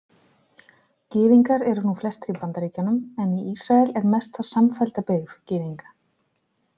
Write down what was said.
Gyðingar eru nú flestir í Bandaríkjunum en í Ísrael er mesta samfellda byggð Gyðinga.